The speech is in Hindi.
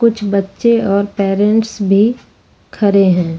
कुछ बच्चे और पैरेंट्स भी खड़े हैं।